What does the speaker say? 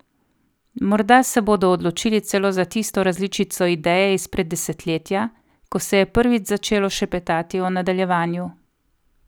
Morda se bodo odločili celo za tisto različico ideje izpred desetletja, ko se je prvič začelo šepetati o nadaljevanju.